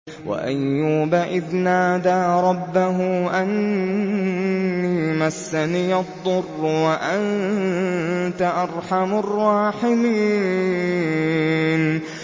۞ وَأَيُّوبَ إِذْ نَادَىٰ رَبَّهُ أَنِّي مَسَّنِيَ الضُّرُّ وَأَنتَ أَرْحَمُ الرَّاحِمِينَ